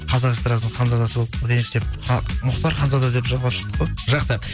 қазақ эстрадасының ханзадасы болып кетейінші деп мұхтар ханзада деп жалғап шықтық қой жақсы